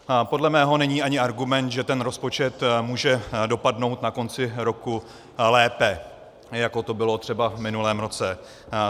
Podle mého není ani argument, že ten rozpočet může dopadnout na konci roku lépe, jako to bylo třeba v minulém roce.